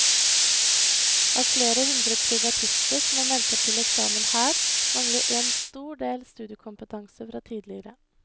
Av flere hundre privatister som er meldt opp til eksamen her, mangler en stor del studiekompetanse fra tidligere.